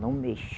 Não mexa.